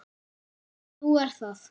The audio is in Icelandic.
Nú er það?